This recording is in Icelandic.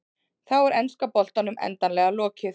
Þá er enska boltanum endanlega lokið.